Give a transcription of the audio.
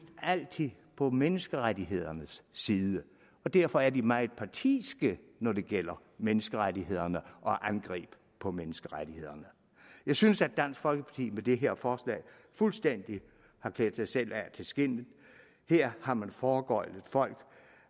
altid på menneskerettighedernes side og derfor er de meget partiske når det gælder menneskerettighederne og angreb på menneskerettighederne jeg synes at dansk folkeparti med det her forslag fuldstændig har klædt sig selv af til skindet her har man foregøglet folk